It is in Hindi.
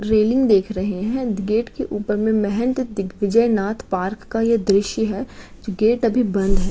रेलिंग देख रहे हैं। द् गेट के ऊपर में मेहैंत दिग्विजय नाथ पार्क का ये दृश्य है। गेट अभी बंद है।